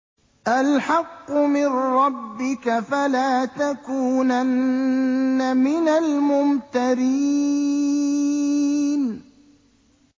الْحَقُّ مِن رَّبِّكَ ۖ فَلَا تَكُونَنَّ مِنَ الْمُمْتَرِينَ